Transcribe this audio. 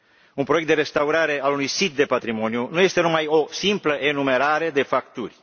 Un proiect de restaurare al unui sit de patrimoniu nu este numai o simplă enumerare de facturi.